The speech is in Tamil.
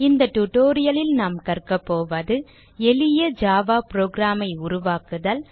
இந்த tutorial லில் நாம் கற்க போவது எளிய ஜாவா புரோகிராம் ஐ உருவாக்குதல்